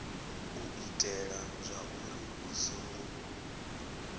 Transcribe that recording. u itela zwauri hu songo